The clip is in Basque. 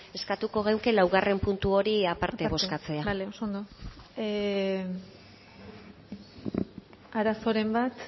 eskatuko genuke laugarrena puntu hori aparte bozkatzea bale oso ondo arazoren bat